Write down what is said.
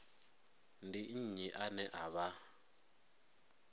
ndi nnyi ane a vha